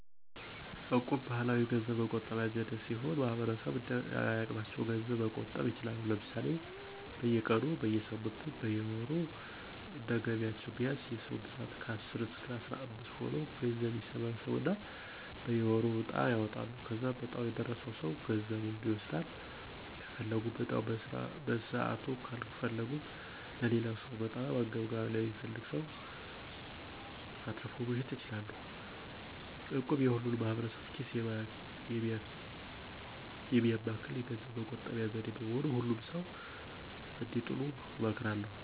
እቁብ ባህላዊ የገንዘብ መቆጠቢያ ዘዴ ሲሆን ማህበረሰቡ እንደየአቅማቸው ገንዘብ መቆጠብ ይችላሉ። ለምሳሌ፦ በየቀኑ, በየሳምንቱ ,በየወሩ እንደየገቢያቸው ቢያንስ የ ሰዉ ብዛት ከአስር እስከ አስራምስት ሆነው ገንዘብ ይሰበስቡና በየወሩ ዕጣ ያወጣሉ. ከዛም ዕጣው የደረሰው ሰው ገንዘቡን ይወስዳል .ከፈለጉም ዕጣውን በሰዓቱ ካልፈለጉት ለሌላው ሰው(በጣም አንገብጋቢ ለሚፈልግ ሰው)አትርፎ መሸጥ ይችላሉ። እቁብ የሁሉንም ማህበረሰብ ኪስ የሚያማክል የገንዘብ መቆጠቢያ ዘዴ በመሆኑ ሁሉም ሰዉ እንዲጥሉ እመክራለሁ።